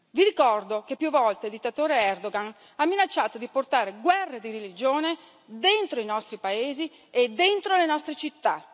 Vi ricordo che più volte il dittatore Erdoğan ha minacciato di portare guerre di religione dentro i nostri paesi e dentro le nostre città.